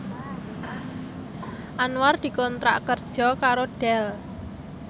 Anwar dikontrak kerja karo Dell